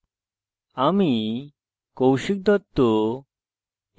আমি কৌশিক দত্ত